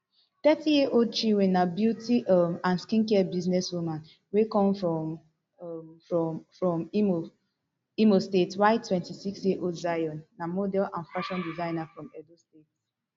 thirty years old chinwe na beauty um and skincare businesswoman wey come um from from imo state while twenty-six years old zion na model and fashion designer from edo state